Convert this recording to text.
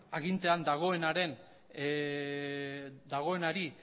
agintean dagoenari